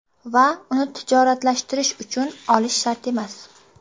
Va uni tijoratlashtirish uchun olish shart emas.